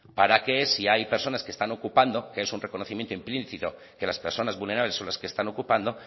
para que si hay personas que están ocupando que es un reconocimiento implícito que las personas vulnerables son las que están ocupando